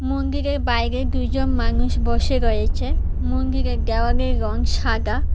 মন্দিরের বাইরে দুইজন মানুষ বসে রয়েছে মন্দিরের দেওয়ালের রং সাদা।